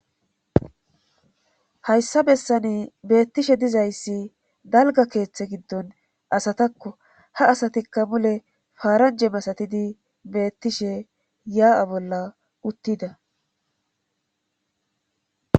hayssa bessani beettishe dizayssi dalga keeththe giddon asatakko ha asatikka mule faaranje masatidi beettishe yaa'a bolla uttida